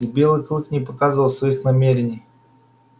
и белый клык не показывал своих намерений